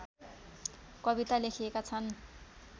कविता लेखिएका छन्